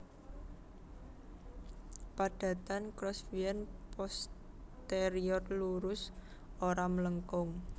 Padatan Crossvein posterior lurus ora mlengkung